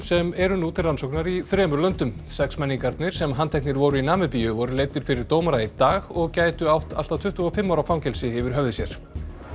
sem eru nú til rannsóknar í þremur löndum sexmenningarnir sem handteknir voru í Namibíu voru leiddir fyrir dómara í dag og gætu átt allt að tuttugu og fimm ára fangelsi yfir höfði sér